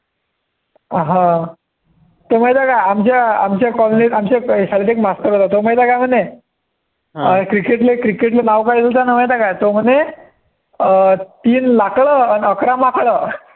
अं हा तो माहिती का आमच्या आमच्या colony त आमच्या शाळेत एक मास्तर होता तो माहिती काय म्हणे cricket ले cricket चे नाव काय घेतं होता माहितआहे का तो म्हणे तीन लाकरं अन अकरा माकडं